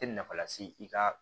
Tɛ nafa lase i ka